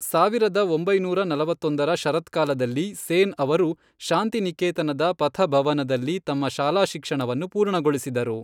ಸಾವಿರದ ಒಂಬೈನೂರ ನಲವತ್ತೊಂದರ ಶರತ್ಕಾಲದಲ್ಲಿ, ಸೇನ್ ಅವರು ಶಾಂತಿನಿಕೇತನದ ಪಥ ಭವನದಲ್ಲಿ ತಮ್ಮ ಶಾಲಾ ಶಿಕ್ಷಣವನ್ನು ಪೂರ್ಣಗೊಳಿಸಿದರು.